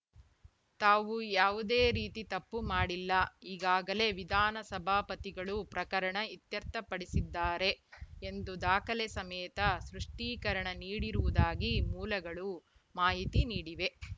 ತಾವು ಯಾವುದೇ ರೀತಿ ತಪ್ಪು ಮಾಡಿಲ್ಲ ಈಗಾಗಲೇ ವಿಧಾನಸಭಾಪತಿಗಳು ಪ್ರಕರಣ ಇತ್ಯರ್ಥಪಡಿಸಿದ್ದಾರೆ ಎಂದು ದಾಖಲೆ ಸಮೇತ ಸ್ಪಷ್ಟೀಕರಣ ನೀಡಿರುವುದಾಗಿ ಮೂಲಗಳು ಮಾಹಿತಿ ನೀಡಿವೆ